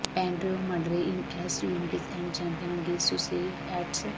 ਪੈਡਰੇ ਓ ਮਡਰੇ ਇਨ ਐਸਟਡਸ ਯੂਨਿਡਜ਼ ਐਂਡ ਚੈਂਪੀਅਨ ਅਗੇਂਸਟ ਸੁਸੈਸ ਐਟਸ